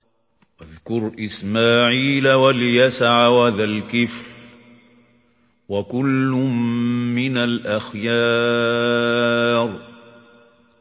وَاذْكُرْ إِسْمَاعِيلَ وَالْيَسَعَ وَذَا الْكِفْلِ ۖ وَكُلٌّ مِّنَ الْأَخْيَارِ